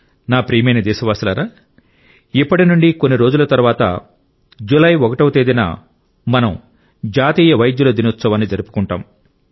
నా ప్రియమైన దేశవాసులారా ఇప్పటి నుండి కొన్ని రోజుల తర్వాత జూలై 1వ తేదీన మనం జాతీయ వైద్యుల దినోత్సవాన్ని జరుపుకుంటాం